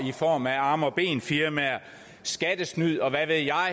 i form af arme og ben firmaer skattesnyd og hvad ved jeg